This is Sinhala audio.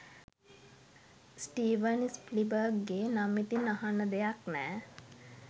ස්ටීවන් ස්පිල්බර්ග් ගෙ නම් ඉතින් අහන්න දෙයක් නැ.